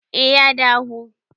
eh ya dahu